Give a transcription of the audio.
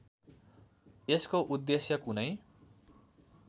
यसको उद्देश्य कुनै